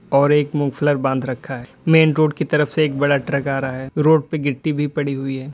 और एक मोफलर बांध रखा है मेन रोड के तरफ से एक बड़ा ट्रक आ रहा है रोड पे गिट्टी भी पड़ी हुई है।